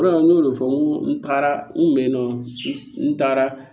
n y'o de fɔ n ko n taara n kun be yennɔ n taara